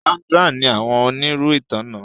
Sandra ní àwọn onirin ìtanná